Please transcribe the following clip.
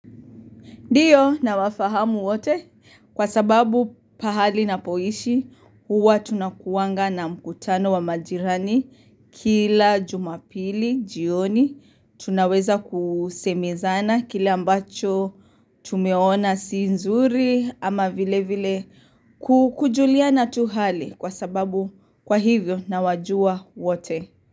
Ndiyo nawafahamu wote kwa sababu pahali napoishi huwa tunakuanga na mkutano wa majirani kila jumapili jioni tunaweza kusemezana kila ambacho tumeona si nzuri ama vile vile kukujulia na tu hali kwa sababu kwa hivyo nawajua wote.